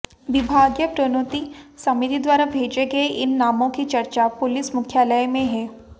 विभागीय प्रोन्नति समिति द्वारा भेजे गये इन नामों की चर्चा पुलिस मुख्यालय में हैं